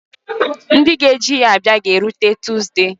Ndị ga-eji ya bịa ga-erutela tuzdee.